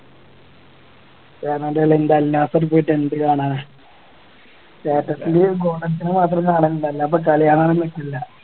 ഏതാണ്ട് പോലെ അൽനാസറിൽ പോയിട്ട് എന്ത് കാണാനാ status video ൽ golden മാത്രം കാണലിണ്ട് അല്ലാതിപ്പോ കളി കാണാൻ ഒന്നും നിക്കുല്ല